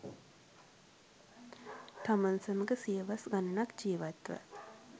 තමන් සමඟ සියවස් ගණනක් ජීවත් ව